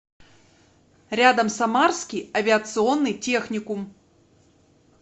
рядом самарский авиационный техникум